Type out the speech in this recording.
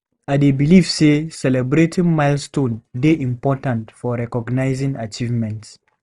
I dey believe say celebrating milestones dey important for recognizing achievements.